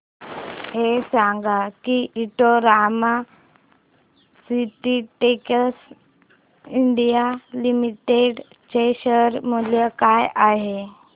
हे सांगा की Indo Rama Synthetics India Limited चे शेअर मूल्य काय आहे